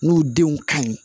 N'u denw ka ɲi